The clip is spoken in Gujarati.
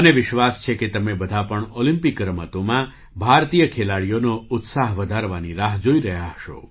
મને વિશ્વાસ છે કે તમે બધા પણ ઑલિમ્પિક રમતોમાં ભારતીય ખેલાડીઓનો ઉત્સાહ વધારવાની રાહ જોઈ રહ્યા હશો